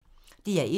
DR1